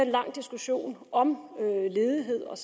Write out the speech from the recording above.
lang diskussion om ledighed og